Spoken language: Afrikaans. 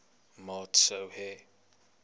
maat sou hê